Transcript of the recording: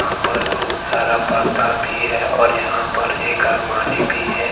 पर बहुत सारा पर्दा भी है और यहां पर एक अलमारी भी है।